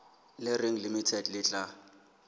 le reng limited le tla